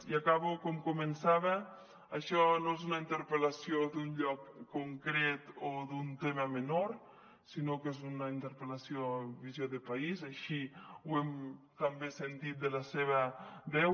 i acabo com començava això no és una interpel·lació d’un lloc concret o d’un tema menor sinó que és una interpel·lació amb visió de país així ho hem també sentit de la seva veu